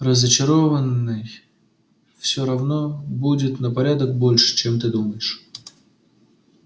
разочарованный все равно будет на порядок больше чем ты думаешь